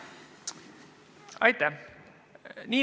Aitäh!